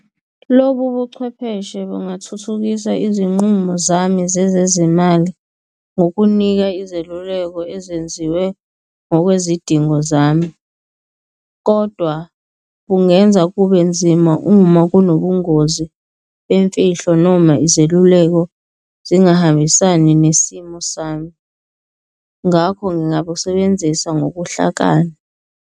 Lobu buchwepheshe bungathuthukisa izinqumo zami zezezimali ngokunika izeluleko ezenziwe ngokwezidingo zami, kodwa bungenza kube nzima uma kunobungozi bemfihlo noma izeluleko zingahambisani nesimo sami. Ngakho ngingabusebenzisa ngobuhlakani.